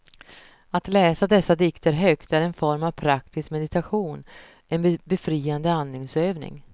Att läsa dessa dikter högt är en form för praktisk meditation, en befriande andningsövning.